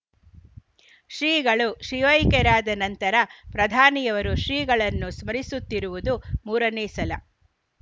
ಶ್ರೀಗಳು ಶಿವೈಕ್ಯರಾದ ನಂತರ ಪ್ರಧಾನಿಯವರು ಶ್ರೀಗಳನ್ನು ಸ್ಮರಿಸುತ್ತಿರುವುದು ಮೂರನೇ ಸಲ